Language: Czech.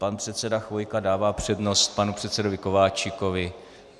Pan předseda Chvojka dává přednost panu předsedovi Kováčikovi.